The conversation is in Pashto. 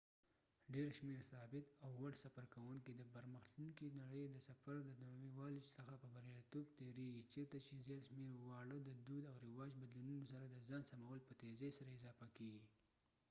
ډیر شمیر ثابت او وړ سفرکوونکي د پرمختلونکې نړئ د سفر د نوي والي څخه په بریالیتوب تیریږي چیرته چې زیات شمیر واړه د دود او رواج بدلونونو سره د ځان سمول په تیزئ سره اضافه کیږي